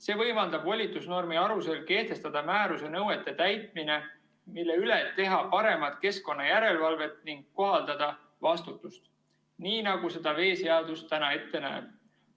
See võimaldab volitusnormi alusel kehtestada määruse nõuete täitmine, mille üle teha paremat keskkonnajärelevalvet ning kohaldada vastutust, nii nagu seda veeseadus täna ette näeb.